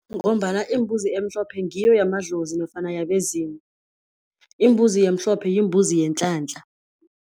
Ngombana imbuzi emhlophe ngiyo yamadlozi nofana yabezimu. Imbuzi emhlophe yimbuzi yenhlanhla.